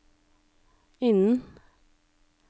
innen